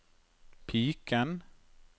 piken